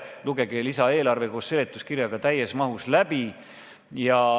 Lugege lisaeelarve koos seletuskirjaga täies mahus läbi.